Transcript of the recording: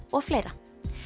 og fleira